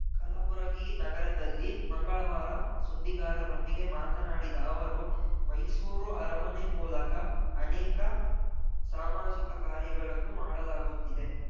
ಕಲಬುರಗಿ ನಗರದಲ್ಲಿ ಮಂಗಳವಾರ ಸುದ್ದಿಗಾರರೊಂದಿಗೆ ಮಾತನಾಡಿದ ಅವರು ಮೈಸೂರು ಅರಮನೆ ಮೂಲಕ ಅನೇಕ ಸಾಮಾಜಿಕ ಕಾರ್ಯಗಳನ್ನು ಮಾಡಲಾಗುತ್ತಿದೆ